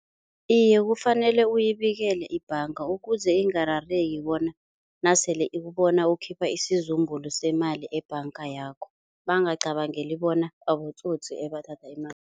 Iye, kufanele uyibikele ibhanga ukuze ingarareki bona nasele ikubona ukhipha isizumbulu semali ebhanga yakho. bangacabangeli bona abatsotsi ebathatha imali